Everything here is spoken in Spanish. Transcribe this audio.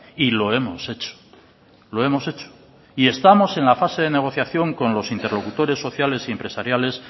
y lo hemos hecho lo hemos hecho y estamos en la fase de negociación con los interlocutores sociales y empresariales